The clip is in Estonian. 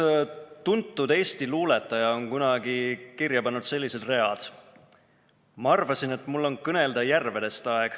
Üks tuntud eesti luuletaja on kunagi kirja pannud sellised read: "Ma arvasin, et mul on kõnelda järvedest aeg.